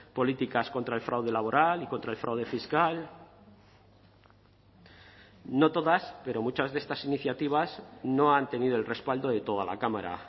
políticas contra el fraude laboral y contra el fraude fiscal no todas pero muchas de estas iniciativas no han tenido el respaldo de toda la cámara